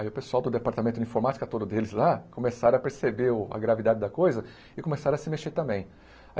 Aí o pessoal do departamento de informática, todo deles lá, começaram a perceber o a gravidade da coisa e começaram a se mexer também.